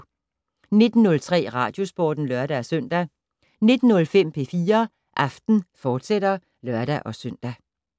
19:03: Radiosporten (lør-søn) 19:05: P4 Aften, fortsat (lør-søn)